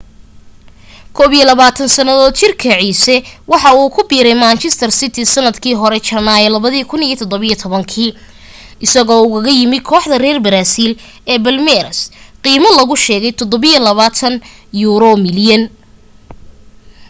21 sannadood jirka ciise waxa uu ku biiray manchester city sannadkii hore janaayo 2017 isagoo ugaga yimu kooxda reer baraasiil ee palmeiras qiime lagu sheegay £27 milyan